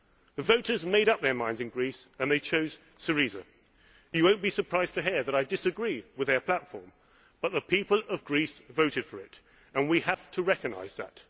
minds. The voters made up their minds in Greece and they chose Syriza. You will not be surprised to hear that I disagree with their platform, but the people of Greece voted for it and we have to recognise